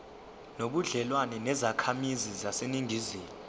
nobudlelwane nezakhamizi zaseningizimu